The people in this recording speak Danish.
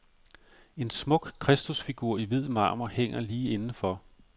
En smuk kristusfigur i hvid marmor hænger lige inden for.